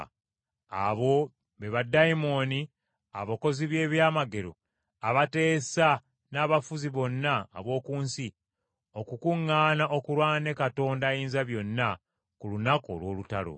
Abo be baddayimooni abakozi b’ebyamagero abateesa n’abafuzi bonna ab’oku nsi okukuŋŋaana okulwana ne Katonda Ayinzabyonna ku lunaku olw’olutalo.